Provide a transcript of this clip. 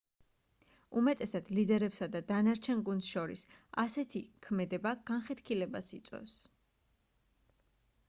უმეტესად ლიდერებსა და დანარჩენ გუნდს შორის ასეთი ქმედება განხეთქილებას იწვევს